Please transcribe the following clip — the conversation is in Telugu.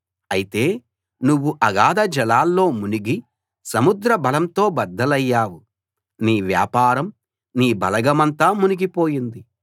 అయితే నువ్వు అగాధజలాల్లో మునిగి సముద్ర బలంతో బద్దలయ్యావు నీ వ్యాపారం నీ బలగమంతా మునిగిపోయింది